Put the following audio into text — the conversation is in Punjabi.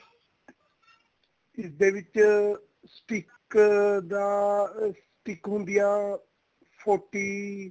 ਜਿਸ ਦੇ ਵਿੱਚ stick ਦਾ ਅਹ stick ਹੁੰਦੀ ਆ forty